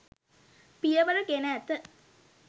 පියවර ගෙන ඇත.